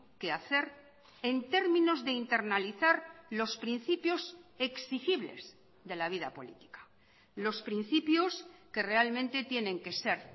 que hacer en términos de internalizar los principios exigibles de la vida política los principios que realmente tienen que ser